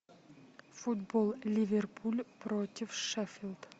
футбол ливерпуль против шеффилд